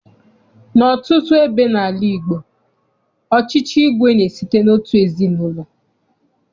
N'ọtụtụ ebe n'ala Igbo, ọchịchị igwe na-esite n'otu ezinaụlọ.